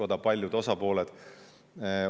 Seal olid paljud osapooled koos.